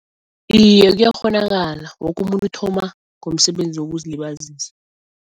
Iye kuyakghonakala woke umuntu uthoma ngomsebenzi wokuzilibazisa.